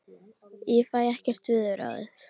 Ég fæ ekkert við þau ráðið.